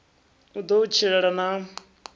u ḓo u tshilela na